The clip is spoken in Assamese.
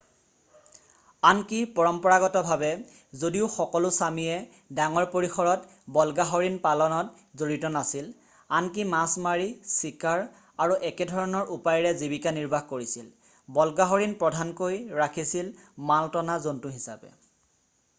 আনকি পৰম্পৰাগতভাৱে যদিও সকলো ছামিয়ে ডাঙৰ পৰিসৰত বল্গাহৰিণ পালনত জড়িত নাছিল আনকি মাছ মাৰি চিকাৰ আৰু একেধৰণৰ উপায়েৰে জীৱিকা নিৰ্বাহ কৰিছিল বল্গাহৰিণ প্ৰধানকৈ ৰাখিছিল মাল টনা জন্তু হিচাপে